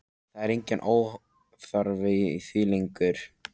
Það er enginn óþarfi í því lengur!